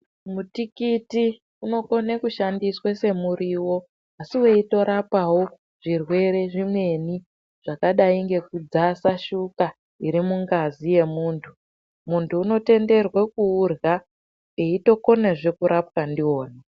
Mutikiti unokone kushandiswa semuriwo asiweyitorapawo zvirwere zvimweni zvakadai ngekudzasa shuka irimungazi yemuntu, muntu unotenderwe kuudya eyitokona zvekurapa ndiwona.